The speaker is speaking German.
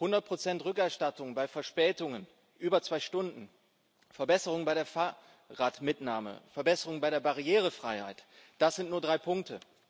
100 Rückerstattung bei Verspätungen über zwei Stunden, Verbesserungen bei der Fahrradmitnahme, Verbesserungen bei der Barrierefreiheit, das sind nur drei Punkte.